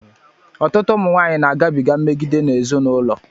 Ọtụtụ ụmụ nwanyị na-agabiga mmegide n'ezinụlọ.